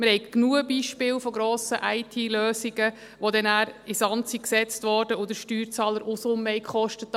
Wir haben genügend Beispiele von grossen IT-Lösungen, die nachher in den Sand gesetzt wurden und den Steuerzahler Unsummen gekostet haben.